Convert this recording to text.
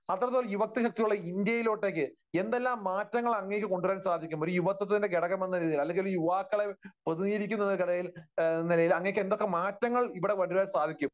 അത്രത്തോളം യുവത്വ ശക്തിയുള്ള ഇന്ത്യയിലൊട്ടേയ്ക്ക് എന്തെല്ലാം മാറ്റങ്ങൾ അങ്ങേയ്ക്ക് കൊണ്ടുവരാൻ സാധിക്കും? ഒരു യുവത്വത്തിന്റെ ഘടകം എന്നുള്ള രീതിയിൽ, അല്ലെങ്കിൽ യുവാക്കളെ പ്രതിനിധീകരിക്കുന്ന ഒരാൾ എന്ന നിലയിൽ അങ്ങേയ്ക്ക് എന്തൊക്കെ മാറ്റങ്ങൾ ഇവിടെ കൊണ്ടുവരാൻ സാധിക്കും?